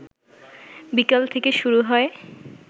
বিকেল থেকে শুরু হয়